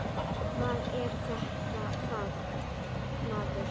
Hvað er þetta, maður?